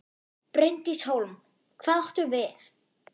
Bryndís Hólm: Hvað áttu við?